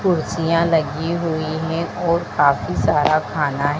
कुर्सियां लगी हुई हैं और काफी सारा खाना है।